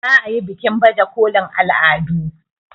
za a yi bikin baje kolin al'adun